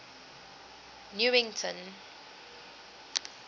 newington